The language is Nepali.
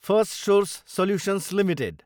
Firstsource solutions Ltd